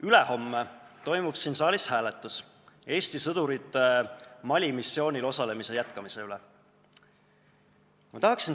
Ülehomme toimub siin saalis hääletus Eesti sõdurite Mali missioonil osalemise jätkamise üle.